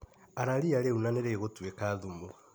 Ara ria rĩu na nĩrĩgũtuika thumu.